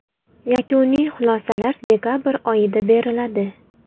Yakuniy xulosalar dekabr oyida beriladi.